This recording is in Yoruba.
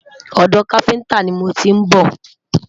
odò kafinta ní mọ n tí n bó